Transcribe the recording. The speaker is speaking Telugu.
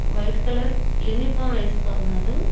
వైట్ కలర్ యూనిఫామ్ వేసుకో ఉన్నారు.